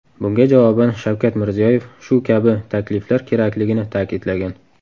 Bunga javoban Shavkat Mirziyoyev shu kabi takliflar kerakligini ta’kidlagan.